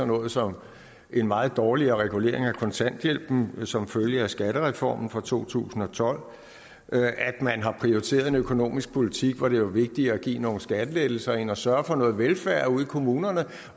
noget som en meget dårligere regulering af kontanthjælpen som følge af skattereformen fra to tusind og tolv og at man har prioriteret en økonomisk politik hvor det er vigtigere at give nogle skattelettelser end at sørge for noget velfærd ude i kommunerne